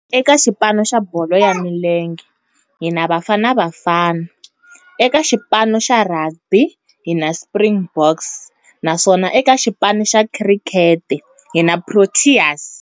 Eka xipano xa bolo ya milenge hi na Bafana Bafana, eka xipano xa rugby hi na Springboks, naswona eka xipano xa cricket hi na Proteas.